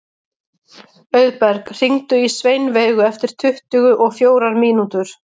Auðberg, hringdu í Sveinveigu eftir tuttugu og fjórar mínútur.